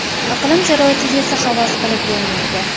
Iqlim sharoitiga esa havas qilib bo‘lmaydi.